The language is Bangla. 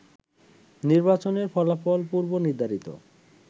নির্বাচনের ফলাফল পূর্বনির্ধারিত